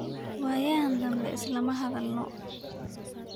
Wayaxan dambe islama hadhalno.